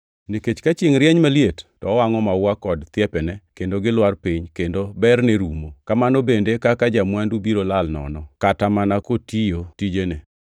Nikech ka chiengʼ rieny maliet to owangʼo maua kod thiepene kendo gilwar piny kendo berne rumo. Kamano bende e kaka ja-mwandu biro lal nono, kata mana kotiyo tijene.